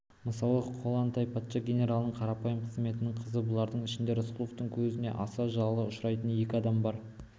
мысалы коллантай патша генералының қарапайым қызметшінің қызы бұлардың ішінде рысқұловтың көзіне аса жылы ұшырайтын екі адам бар